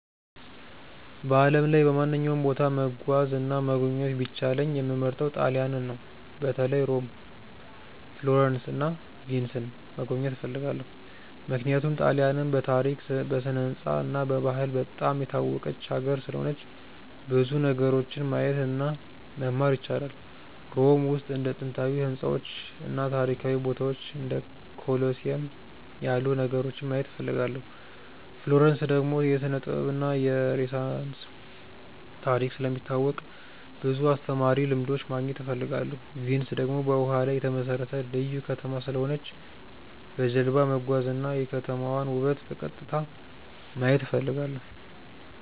በዓለም ላይ በማንኛውም ቦታ መጓዝ እና መጎብኘት ቢቻለኝ የምመርጠው ጣሊያንን ነው። በተለይ ሮም፣ ፍሎረንስ እና ቪንስን መጎብኘት እፈልጋለሁ። ምክንያቱም ጣሊያንን በታሪክ፣ በስነ-ሕንፃ እና በባህል በጣም የታወቀች ሀገር ስለሆነች ብዙ ነገሮችን ማየት እና መማር ይቻላል። ሮም ውስጥ እንደ ጥንታዊ ሕንፃዎች እና ታሪካዊ ቦታዎች እንደ ኮሎሲየም ያሉ ነገሮችን ማየት እፈልጋለሁ። ፍሎረንስ ደግሞ የስነ-ጥበብ እና የሬነሳንስ ታሪክ ስለሚታወቅ ብዙ አስተማሪ ልምዶች ማግኘት እፈልጋለሁ። ቪንስ ደግሞ በውሃ ላይ የተመሠረተ ልዩ ከተማ ስለሆነች በጀልባ መጓዝ እና የከተማዋን ውበት በቀጥታ ማየት እፈልጋለሁ።